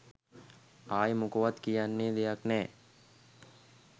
අයෙ මොකවත් කියන්න දෙයක් නෑ